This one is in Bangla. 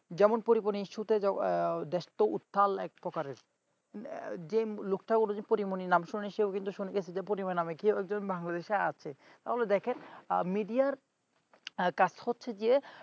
যেমন পরিমনির issue দেশতো উত্তাল একপ্রকারের যে লোকটা ও কিন্তু পরীমনির নাম শোনেনি সেও কিন্তু শুনে গেছে পরীমনির নামে কেউ একজন বাংলাদেশে আছে তাহলে দেখেন media র কাজ হচ্ছে যে